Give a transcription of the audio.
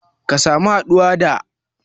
Ka samu haɗuwa da